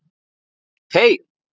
BOGGA: Heyr!